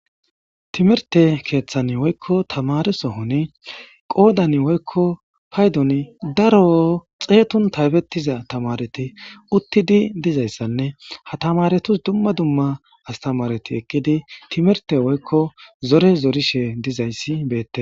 Timirte keeththan woykko tamaresohoni qoodan woykko paydoni daro xeetun taybettiza tamareti uttidi dizayssanne ha tamaretus dumma dumma astamareti ekkidi timirte woykko zore zorishe dizayssi beette